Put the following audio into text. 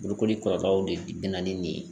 Bolokoli kɔrɔkɛ de bɛ na ni nin ye